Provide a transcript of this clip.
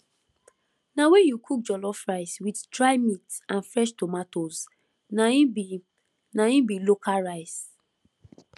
na wen you cook jollof rice with dry meat and fresh tomatoes na im be na im be local rice